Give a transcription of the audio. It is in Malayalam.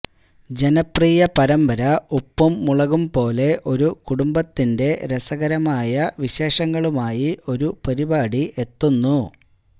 ജനപ്രിയ പരമ്പര ഉപ്പും മുളകും പോലെ ഒരു കുടുംബത്തിന്റെ രസകരമായ വിശേഷങ്ങളുമായി ഒരു പരിപാടി എത്തുന്നു